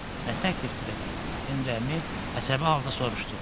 Nə təklifdir elə, Henri əmi əsəbi halda soruşdu.